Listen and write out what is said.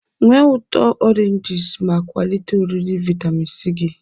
Nwee ụtọ oranges ma kwalite oriri vitamin C gị.